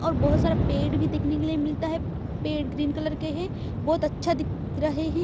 और बहोत सारे पेड़ भी देखने के लिए मिलता है पेड़ ग्रीन कलर के हैं बहोत अच्छा दिख रहे हैं।